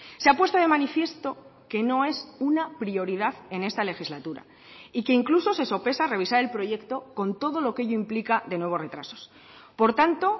se ha puesto de manifiesto que no es una prioridad en esta legislatura y que incluso se sopesa revisar el proyecto con todo lo que ello implica de nuevos retrasos por tanto